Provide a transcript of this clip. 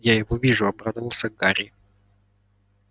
я его вижу обрадовался гарри